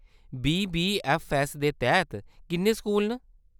BBFS दे तैह्‌‌‌त किन्ने स्कूल न ?